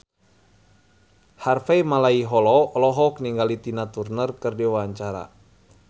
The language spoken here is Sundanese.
Harvey Malaiholo olohok ningali Tina Turner keur diwawancara